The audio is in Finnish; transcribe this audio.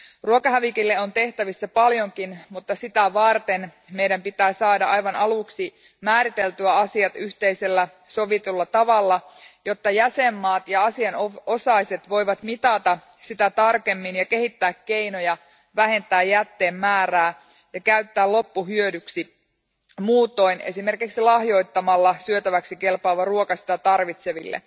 Ruokahävikille on tehtävissä paljonkin, mutta sitä varten meidän pitää saada aivan aluksi määriteltyä asiat yhteisellä sovitulla tavalla, jotta jäsenmaat ja asianosaiset voivat mitata sitä tarkemmin ja kehittää keinoja vähentää jätteen määrää ja käyttää loppu hyödyksi muutoin, esimerkiksi lahjoittamalla syötäväksi kelpaava ruoka sitä tarvitseville.